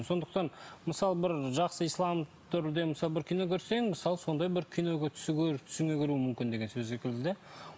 сондықтан мысалы бір жақсы ислам түрде мысалы бір кино көрсең мысалы сондай бір кино түсіңе кіруі мүмкін сол секілді де